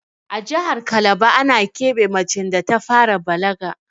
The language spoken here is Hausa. A jahar kalaba ana keɓe macen da ta fara balaga